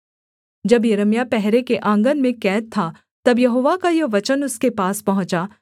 जब यिर्मयाह पहरे के आँगन में कैद था तब यहोवा का यह वचन उसके पास पहुँचा